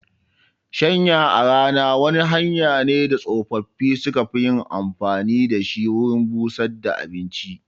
Shanya a rana wani hanya ne da tsofaffi su ka fi yin amfani da shi wurin busar da abinci